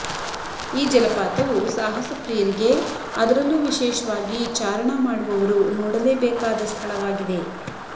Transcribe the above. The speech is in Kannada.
ಈ ಜಲಪಾತವು ಸಾಹಸ ಪ್ರಿಯರಿಗೆ ಅದರಲ್ಲು ವಿಶೇಷವಾಗಿ ಚಾರಣ ಮಾಡುವವರು ನೋಡಲೇಬೇಕಾದ ಸ್ಥಳವಾಗಿದೆ